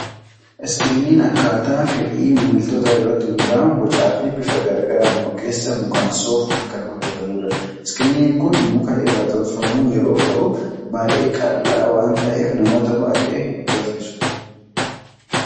Screen akkaataa fedhii maamiltootaa irratti hundaa'uun bocaa fi bifa garaa garaan ogeessa mukansoofuun kan hojjetamudha. Screen Kun kan muka irraa tolfameeru yeroo ta'u, baay'ee qal'aa waan ta'eef namoota baay'ee hin raffisu.